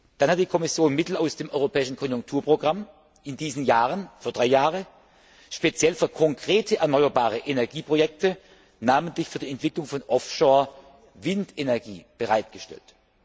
Dann hat die Kommission Mittel aus dem europäischen Konjunkturprogramm in diesen Jahren für drei Jahre speziell für konkrete erneuerbare Energieprojekte, namentlich für die Entwicklung von Off shore Windenergie bereitgestellt.